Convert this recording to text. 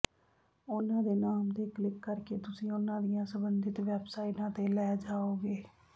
ਉਹਨਾਂ ਦੇ ਨਾਮ ਤੇ ਕਲਿਕ ਕਰਕੇ ਤੁਸੀਂ ਉਹਨਾਂ ਦੀਆਂ ਸੰਬੰਧਿਤ ਵੈਬਸਾਈਟਾਂ ਤੇ ਲੈ ਜਾਓਗੇ